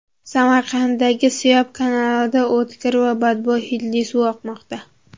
Samarqanddagi Siyob kanalidan o‘tkir va badbo‘y hidli suv oqmoqda .